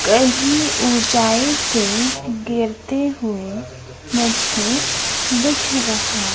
कहीं ऊंचाई से गिरते हुए मुझे दिख रहा--